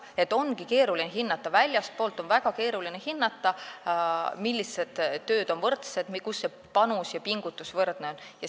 Jah, ongi keeruline hinnata, väljastpoolt on väga keeruline hinnata, millised tööd on võrdsed, kus see panus ja pingutus on võrdne.